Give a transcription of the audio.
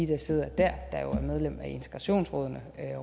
der sidder der der er medlem af integrationsrådene